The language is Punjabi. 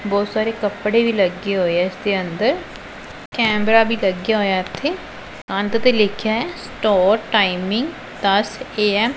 ਬਹੁਤ ਸਾਰੇ ਕੱਪੜੇ ਵੀ ਲੱਗੇ ਹੋਏ ਹੈਂ ਇੱਸ ਦੇ ਅੰਦਰ ਕੈਮਰਾ ਵੀ ਲੱਗਿਆ ਹੋਇਆ ਇੱਥੇ ਕੰਧ ਤੇ ਲਿੱਖਿਆ ਹੈ ਸਟੋਰ ਟਾਈਮਿੰਗ ਦੱਸ ਐ ਐਮ ।